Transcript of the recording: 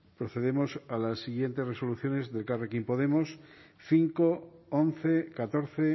procedemos a las siguientes resoluciones de elkarrekin podemos cinco once catorce